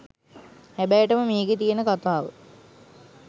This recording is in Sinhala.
හැබෑටම මේකේ තියෙන කතාව